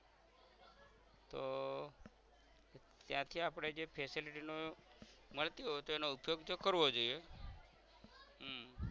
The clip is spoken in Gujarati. તો ક્યાં ક્યાં આપણે જે facility નો મળતી હોય તો એનો ઉપયોગ તો કરવો જોઇયે હમ